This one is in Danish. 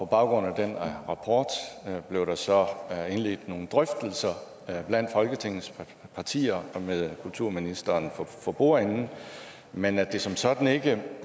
baggrund af den rapport blev der så indledt nogle drøftelser blandt folketingets partier og med kulturministeren for bordenden men at de som sådan ikke